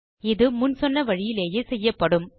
இது முன் சொன்ன வழியிலேயே செய்யப்படும்